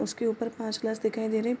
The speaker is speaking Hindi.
उसके ऊपर पाँच ग्लास दिखाई दे रहें हैं।